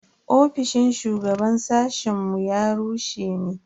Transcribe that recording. Ofishin shugaban sashen mu ya rushe ne.